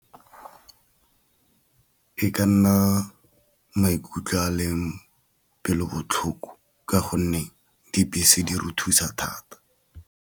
E ka nna maikutlo a leng pelo botlhoko, ka gonne dibese di re thusa thata.